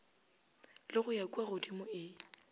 le go ya kuagodimo e